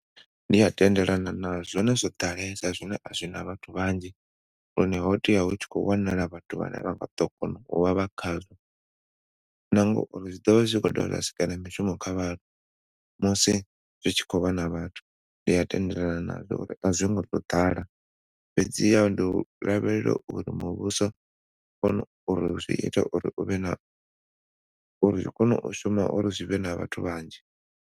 Ndi a tendelana nazwo zwone zwo ḓalesa zwine a zwina vhathu vhanzhi hune ho tea hu tshi khou wanala vhathu vhane vha ḓo na ngauri zwi ḓo vha zwi khou sikela na mishumo kha vhaṅwe musi hu tshi khou vha na vhathu ndi a tendelana nazwo a zwi ngo youḓala fhedziha ndi lavhelela uri muvhuso zwiita uri u vhe na uri zwi kona u shuma uri zwi vhe na vhathu vhanzhi.